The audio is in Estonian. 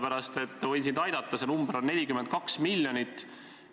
Ma nimelt võin sind aidata: see summa on 42 miljonit.